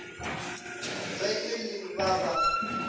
ge e le ba ba